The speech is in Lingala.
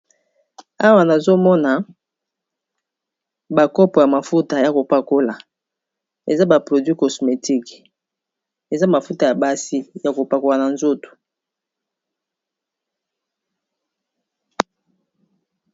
Awa nazomona ba kopo ya mafuta ya kopakola eza ba produits cosmetique eza mafuta ya basi ya kopakola na nzoto.